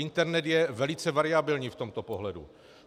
Internet je velice variabilní v tomto pohledu.